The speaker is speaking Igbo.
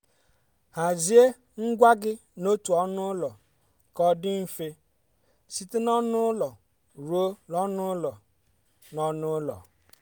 hazie ngwa gị n'otu ọnụ ụlọ ka ọ dị mfe site n'ọnụ ụlọ ruo n'ọnụ ụlọ. n'ọnụ ụlọ.